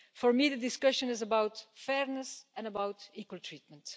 For me, the discussion is about fairness and equal treatment.